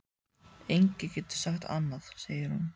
Enginn getur sagt annað, segir hún.